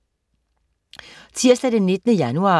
Tirsdag den 19. januar